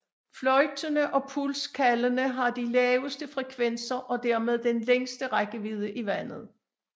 Fløjtene og puls kaldene har de laveste frekvenser og dermed den længste rækkevidde i vandet